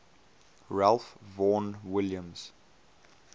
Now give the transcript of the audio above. ralph vaughan williams